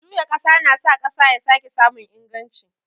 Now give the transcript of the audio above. Juya ƙasa na sa ƙasa ya sake samun inganci.